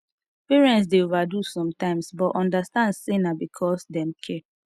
parents dey overdo sometimes but understand say na because dem care